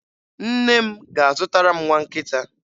Nne m ga-azụtara m nwa nkịta.